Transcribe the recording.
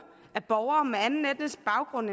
af borgere med anden etnisk baggrund